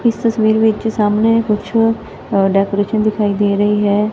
ਇਸ ਤਸਵੀਰ ਵਿੱਚ ਸਾਹਮਣੇ ਕੁਛ ਅ ਡੈਕੋਰੇਸ਼ਨ ਦਿਖਾਈ ਦੇ ਰਹੀ ਹੈ।